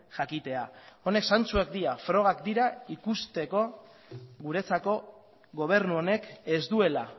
jakitea honek zantzuak dira frogak dira ikusteko guretzako gobernu honek ez duela